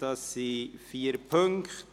Diese enthält vier Punkte.